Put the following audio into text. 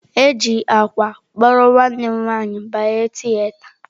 E ji akwa kpụrụ nwanne m nwanyị banye tieata.